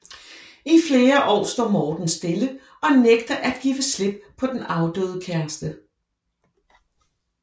I flere år står Morten stille og nægter at give slip på den afdøde kæreste